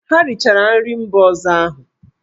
Ha richara nri mba ọzọ ahụ!